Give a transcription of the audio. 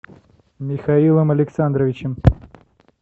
михаилом александровичем